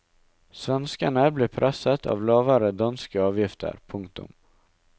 Svenskene blir presset av lavere danske avgifter. punktum